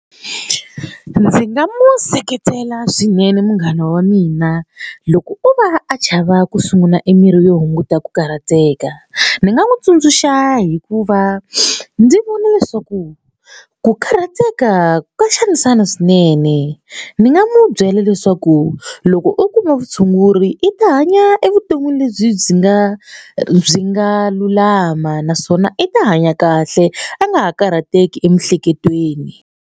Ndzi nga mu seketela swinene munghana wa mina. Loko o va a chava ku sungula e mirhi yo hunguta ku karhateka ni nga n'wi tsundzuxa hikuva ndzi vona leswaku ku karhateka ka xanisana swinene. Ni nga mu byela leswaku loko u kuma vutshunguri i ta hanya evuton'wini lebyi byi nga byi nga lulama naswona i ta hanya kahle a nga ha karhateki emiehleketweni.